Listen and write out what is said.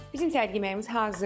Bizim səhər yeməyimiz hazırdır.